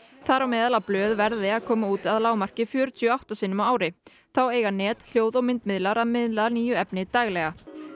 þar á meðal að blöð verði að koma út að lágmarki fjörutíu og átta sinnum á ári þá eiga net hljóð og myndmiðlar að miðla nýju efni daglega